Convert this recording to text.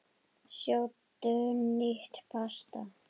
Sjóddu nýtt pasta.